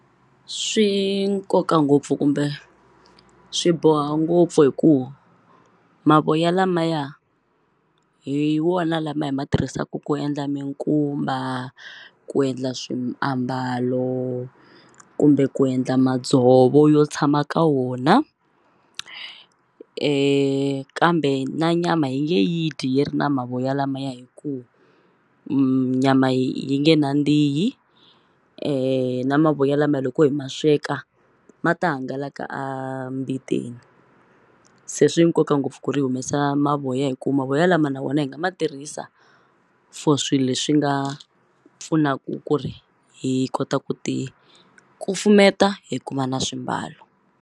Swi nkoka ngopfu kumbe swi boha ngopfu hi ku mavoya lamaya hi wona lama hi ma tirhisaku ku endla minkumba ku endla swiambalo kumbe ku endla madzovo yo tshama ka wona kambe na nyama yi nge yi dyi yi ri na mavoya lamaya hi ku nyama yi nge khandzihi na mavoya lama loko hi ma sweka ma ta hangalaka a mbiteni se swi nkoka ngopfu ku ri hi humesa mavoya hi ku mavoya lama na vona hi nga ma tirhisa for swi leswi nga pfunaku ku ri hi kota ku ti kufumeta hi kuma na swimbalo.